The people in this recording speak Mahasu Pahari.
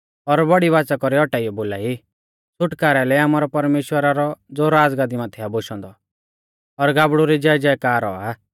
और बौड़ी बाच़ा कौरी औटाइयौ बोलाई छ़ुटकारै लै आमारै परमेश्‍वरा रौ ज़ो राज़गाद्दी माथै आ बोशौ औन्दौ और गाबड़ु री जयजयकार औआ